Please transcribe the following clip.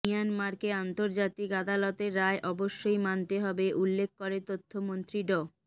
মিয়ানমারকে আন্তর্জাতিক আদালতের রায় অবশ্যই মানতে হবে উল্লেখ করে তথ্যমন্ত্রী ড